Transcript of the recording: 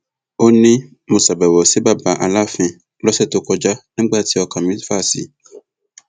ó ní mo ṣàbẹwò sí baba aláàfin lọsẹ tó kọjá nígbà tí ọkàn mi fà sí i